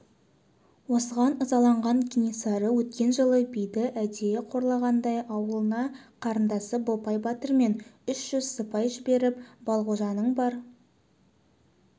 осыған ызаланған кенесары өткен жылы биді әдейі қорлағандай аулына қарындасы бопай батырмен үш жүз сыпай жіберіп балғожаның бар